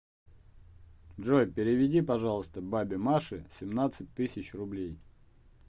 джой переведи пожалуйста бабе маше семнадцать тысяч рублей